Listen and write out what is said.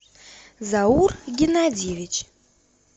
заур геннадьевич